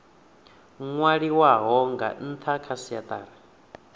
nwaliwaho nga ntha kha siatari